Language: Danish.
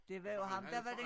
Det var jo ham der var det